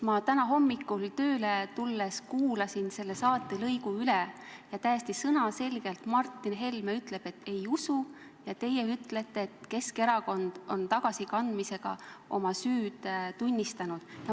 Ma täna hommikul tööle tulles kuulasin selle saatelõigu üle ja täiesti sõnaselgelt Martin Helme ütles, et ei usu, ja teie ütlesite, et Keskerakond on tagasikandmisega oma süüd tunnistanud.